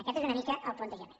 aquest és una mica el plantejament